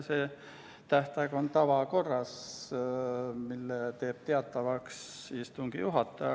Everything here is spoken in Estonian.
See tähtaeg määratakse tavakorras ja selle teeb teatavaks istungi juhataja.